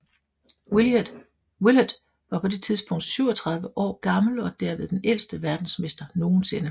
Willard var på det tidspunkt 37 år gammel og derved den ældste verdensmester nogensinde